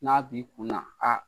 N'a b'i kun na aa